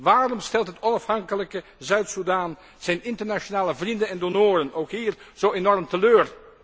Waarom stelt het onafhankelijke Zuid Soedan zijn internationale vrienden en donoren ook hier zo enorm teleur?